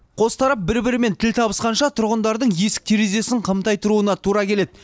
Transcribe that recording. қос тарап бір бірімен тіл табысқанша тұрғындардың есік терезесін қымтай тұруына тура келеді